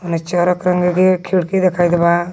होने चारो खिड़की दिखाइत बा.